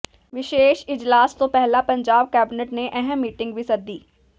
ਵਿਸ਼ੇਸ਼ ਇਜਲਾਸ ਤੋਂ ਪਹਿਲਾਂ ਪੰਜਾਬ ਕੈਬਨਿਟ ਨੇ ਅਹਿਮ ਮੀਟਿੰਗ ਵੀ ਸੱਦੀ